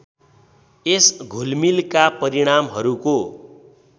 यस घुलमिलका परिणामहरूको